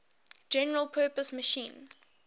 general purpose machine